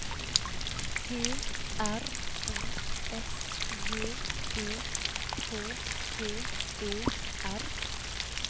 P R O S J E K T E R